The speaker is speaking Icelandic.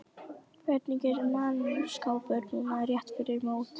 Hvernig er mannskapurinn núna rétt fyrir mót?